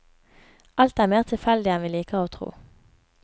Alt er mer tilfeldig enn vi liker å tro.